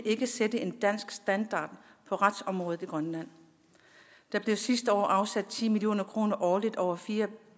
sætte en dansk standard for retsområdet i grønland der blev sidste år afsat ti million kroner årligt over fire